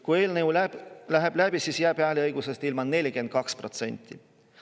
Kui eelnõu läheb läbi, siis jääb seal hääleõigusest ilma 42%.